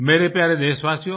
मेरे प्यारे देशवासियो